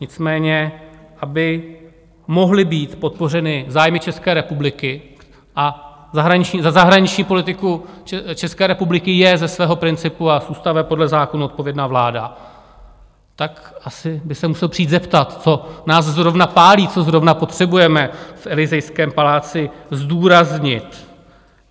Nicméně aby mohly být podpořeny zájmy České republiky - a za zahraniční politiku České republiky je ze svého principu a z ústavy podle zákona odpovědna vláda - tak asi by se musel přijít zeptat, co nás zrovna pálí, co zrovna potřebujeme v Elysejském paláci zdůraznit.